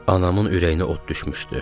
Anamın ürəyinə od düşmüşdü.